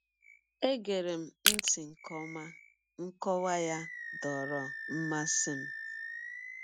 E gerem ntị nke ọma, nkọwa ya dọọrọ mmasị m.